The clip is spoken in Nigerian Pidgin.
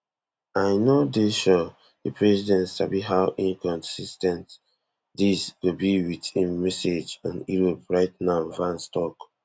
i no dey sure di president sabi how inconsis ten t dis go be wit im message on europe right now vance tok